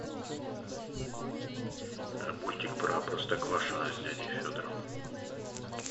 мультик про простоквашино с дядей федором